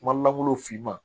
Kuma lankolon finman